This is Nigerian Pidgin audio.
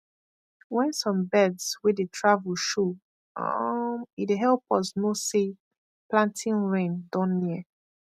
when some birds wey dey travel show um e dey help us know say planting rain don near